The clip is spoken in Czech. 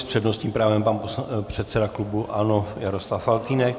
S přednostním právem pan předseda klubu ANO Jaroslav Faltýnek.